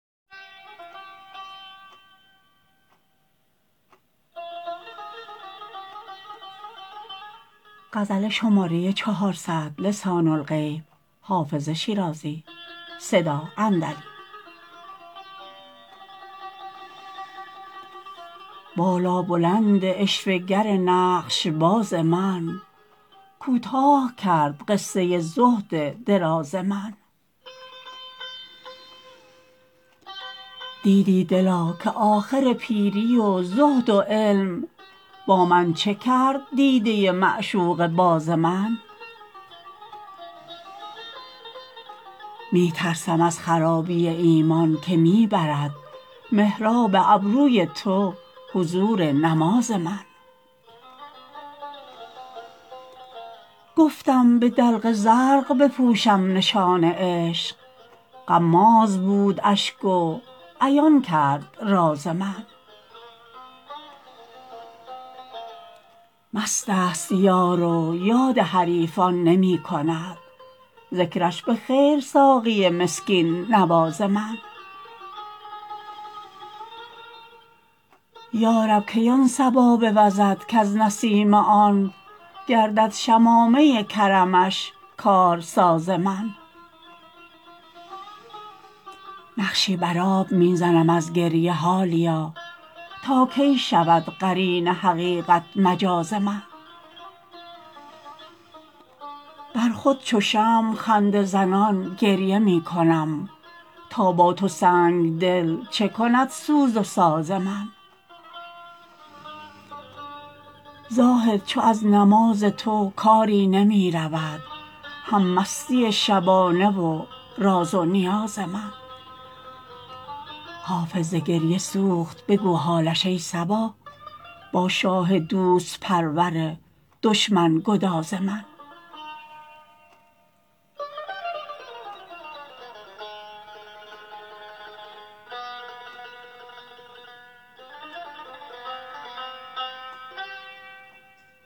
بالابلند عشوه گر نقش باز من کوتاه کرد قصه زهد دراز من دیدی دلا که آخر پیری و زهد و علم با من چه کرد دیده معشوقه باز من می ترسم از خرابی ایمان که می برد محراب ابروی تو حضور نماز من گفتم به دلق زرق بپوشم نشان عشق غماز بود اشک و عیان کرد راز من مست است یار و یاد حریفان نمی کند ذکرش به خیر ساقی مسکین نواز من یا رب کی آن صبا بوزد کز نسیم آن گردد شمامه کرمش کارساز من نقشی بر آب می زنم از گریه حالیا تا کی شود قرین حقیقت مجاز من بر خود چو شمع خنده زنان گریه می کنم تا با تو سنگ دل چه کند سوز و ساز من زاهد چو از نماز تو کاری نمی رود هم مستی شبانه و راز و نیاز من حافظ ز گریه سوخت بگو حالش ای صبا با شاه دوست پرور دشمن گداز من